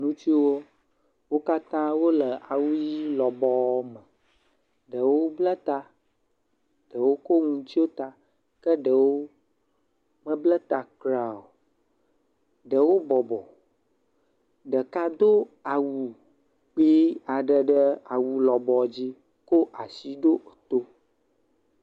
Ŋutsuwo, wo katã wole awu ʋɛ̃ lɔbɔɔ me, ɖewo bla ta, ɖewo ko nu tsyɔ ta ke ɖewo mebla ta kura o, ɖewo bɔbɔ, ɖeka do awu kpui aɖe ɖe awu lɔbɔ dzi ko asi ɖo to.